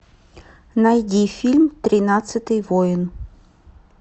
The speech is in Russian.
найди фильм тринадцатый воин